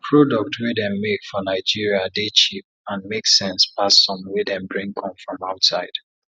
product wey dem make for nigeria dey cheap and make sense pass some wey dem bring come from outside